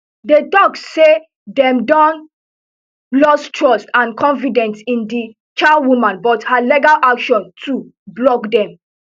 dey tok say dem don lost trust and confidence in di chairwoman but her legal action to block dem